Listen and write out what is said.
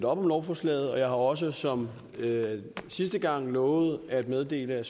op om lovforslaget og jeg har også som sidste gang lovet at meddele at